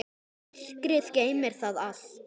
Myrkrið geymir það allt.